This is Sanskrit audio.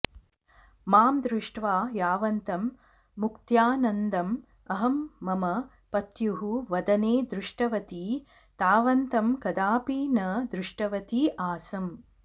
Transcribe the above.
मां दृष्ट्वा यावन्तं मुक्त्यानन्दं अहं मम पत्युः वदने दृष्टवती तावन्तं कदापि न दृष्टवती आसम्